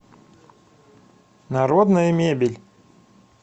народная мебель